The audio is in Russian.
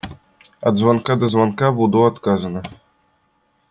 от звонка до звонка в удо отказано